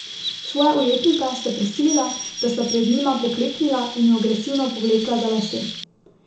Svoja ujetnika sta prisilila, da sta pred njima pokleknila, in ju agresivno povlekla za lase.